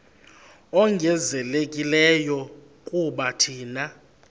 ongezelelekileyo kuba thina